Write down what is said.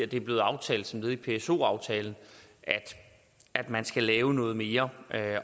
det blev aftalt som led i pso aftalen at man skal lave noget mere